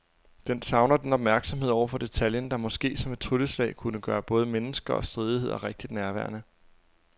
Den savner den opmærksomhed over for detaljen, der måske som et trylleslag kunne gøre både mennesker og stridigheder rigtig nærværende.